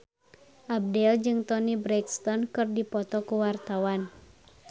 Abdel jeung Toni Brexton keur dipoto ku wartawan